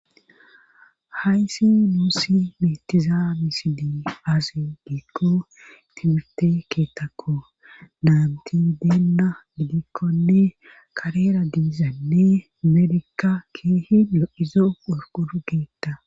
hayssi nuussi betiza misiley aaze giikko timirte keethakko naanti deenna gidikkonne karera diizaynne amerika kehi lo7izo qorqro keetta